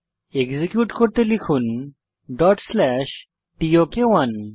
execute করতে লিখুন টক1